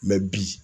bi